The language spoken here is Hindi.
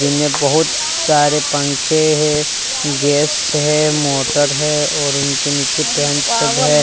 इनमें बहुत सारे पंखे हैं गैस है मोटर है और उनके नीचे पेंट सब है।